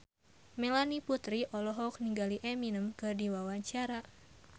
Melanie Putri olohok ningali Eminem keur diwawancara